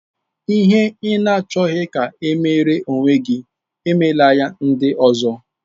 Ihe ị na-achọghị ka e meere onwe gị, emela ya ndị ọzọ.